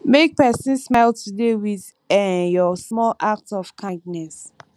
make pesin smile today with um your small act of kindness